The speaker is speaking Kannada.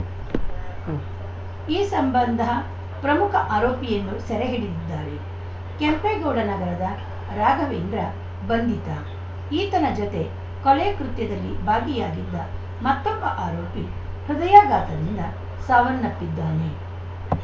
ಉಂ ಈ ಸಂಬಂಧ ಪ್ರಮುಖ ಆರೋಪಿಯನ್ನು ಸೆರೆ ಹಿಡಿದಿದ್ದಾರೆ ಕೆಂಪೇಗೌಡ ನಗರದ ರಾಘವೇಂದ್ರ ಬಂಧಿತ ಈತನ ಜೊತೆ ಕೊಲೆ ಕೃತ್ಯದಲ್ಲಿ ಭಾಗಿಯಾಗಿದ್ದ ಮತ್ತೊಬ್ಬ ಆರೋಪಿ ಹೃದಯಾಘಾತದಿಂದ ಸಾವನ್ನಪ್ಪಿದ್ದಾನೆ